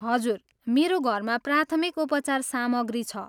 हजुर, मेरो घरमा प्राथमिक उपचार सामग्री छ।